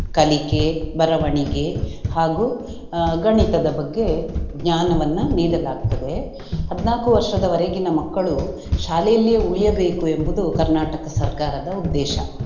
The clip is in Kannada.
ಕಲಿಕೆ, ಬರವಣಿಗೆ ಹಾಗೂ ಆಹ್ ಗಣಿತದ ಬಗ್ಗೆ ಜ್ಞಾನವನ್ನ ನೀಡಲಾಗ್ತದೆ. ಹದ್ನಾಕು ವರ್ಷದವರೆಗಿನ ಮಕ್ಕಳು ಶಾಲೆಯಲ್ಲಿಯೇ ಉಳಿಯಬೇಕು ಎಂಬುದ್ ಕರ್ನಾಟಕ ಸರ್ಕಾರದ ಉದ್ದೇಶ.